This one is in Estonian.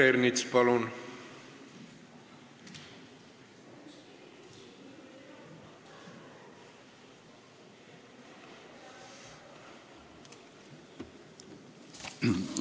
Peeter Ernits, palun!